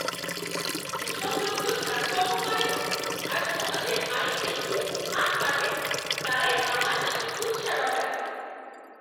যেসব লোকজন কাজকর্ম করে না আর সমাজের আইন দেখিয়ে ফাঁদ পাতে, তারাই আমার নামে কুৎসা রটায়।